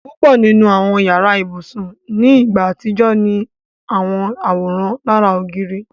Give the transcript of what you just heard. Púpọ̀ nínu awọn yàrà-íbusùn ni ìgbà atijọ̀ ni awọn àwóran lárà ogìrì.